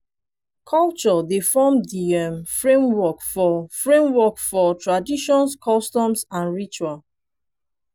culture dey form di um framework for framework for tradition customs and rituals